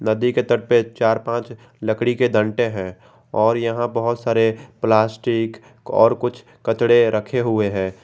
नदी के तट पे चार पांच लकड़ी के डंडे हैं और यहां बहुत सारे प्लास्टिक और कुछ कचड़े रखे हुए हैं।